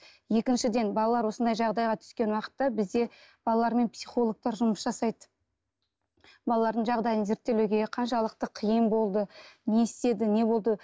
екіншіден балалар осындай жағдайға түскен уақытта бізде балалармен психологтар жұмыс жасайды балалардың жағдайын зерттелуге қаншалықты қиын болды не істеді не болды